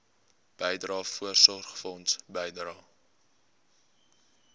bydrae voorsorgfonds bydrae